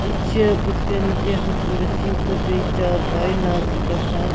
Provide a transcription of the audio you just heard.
.یہِ چھ بُتھہِ کنہِ کیٚنٛہہ کُرسی تہٕ بیٚیہِ چارپایہِ نطرِ گژھان